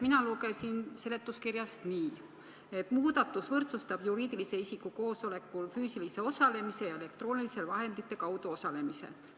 Mina lugesin seletuskirjast, et muudatus võrdsustab juriidilise isiku füüsilise koosolekul osalemise ja elektrooniliste vahendite kaudu osalemise.